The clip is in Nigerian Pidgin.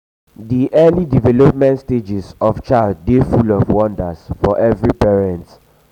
di early development stage of child dey full of wonder for every parent.